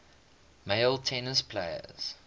male tennis players